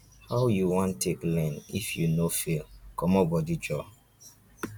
how you wan take learn if you no fail comot bodi joor.